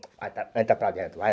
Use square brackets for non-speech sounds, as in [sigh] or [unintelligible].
[unintelligible] entra para dentro, vai.